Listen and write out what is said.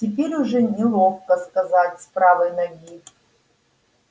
теперь уже неловко сказать с правой ноги